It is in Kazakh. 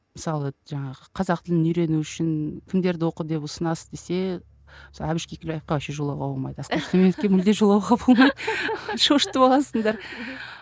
мысалы жаңағы қазақ тілін үйрену үшін кімдерді оқы деп ұсынасыз десе әбіш кекілбаевқа вообще жолауға болмайды асқар сүлейменовке мүлде жолауға болмайды шошытып аласыңдар